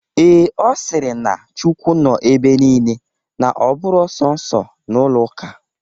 Ee, Ọ sịrị na chukwu nọ ebe nile na ọ bụrọ sọnsọ n'ụlọ ụka.